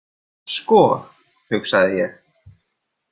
Sko, hugsaði ég.